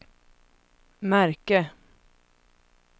märke